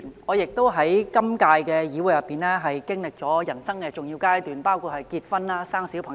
我在今屆議會亦經歷了人生的重要階段，包括結婚及生育小朋友。